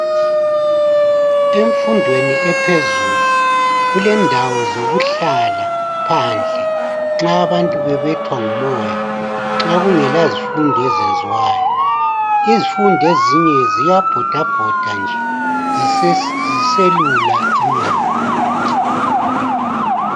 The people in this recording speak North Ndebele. Emfundweni ephezulu, kulendawo zokuhlala phandle, nxa abamuntu bebethwa ngumoya. Nxa kungela zifundo eziyenziwayo, izifundi ezinye ziyabhodabhoda nje ziselula inyawo.